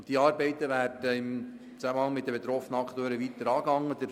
Diese Arbeiten werden im Zusammenhang mit den betroffenen Akteuren weiter angegangen.